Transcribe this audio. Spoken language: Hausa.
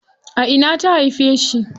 A ina ta haife shi?